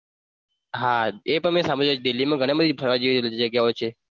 હા એ પણ મેં સાંભળ્યું છે દિલ્હીમાં ઘણી બધી જગ્યાઓ છે ફરવા માટે ફરવા જેવી જગ્યાઓ છે.